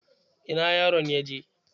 Ina yaron ya je?